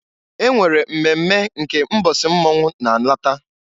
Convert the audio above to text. E nwere mmemme nke mbọsị mmọnwụ na-alata.